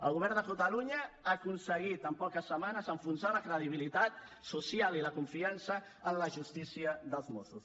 el govern de catalunya ha aconseguit en poques setmanes enfonsar la credibilitat social i la confiança en la justícia dels mossos